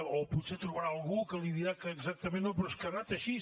o que potser trobarà algú que li dirà que exactament no però és que ha anat així